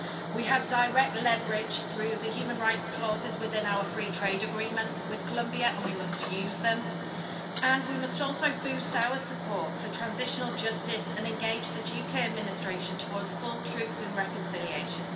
We have direct leverage through the human rights clauses within our free trade agreement with Colombia and we must use them, and we must also boost our support for transitional justice and engage the Duque administration towards full truth and reconciliation.